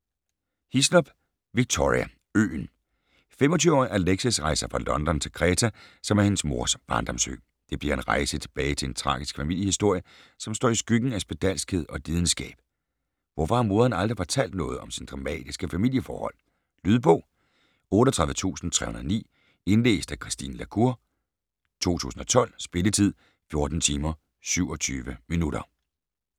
Hislop, Victoria: Øen 25-årige Alexis rejser fra London til Kreta, som er hendes mors barndomsø. Det bliver en rejse tilbage til tragisk familiehistorie, som står i skyggen af spedalskhed og lidenskab. Hvorfor har moderen aldrig fortalt noget om sine dramatiske familieforhold? Lydbog 38309 Indlæst af Christine la Cour, 2012. Spilletid: 14 timer, 27 minutter.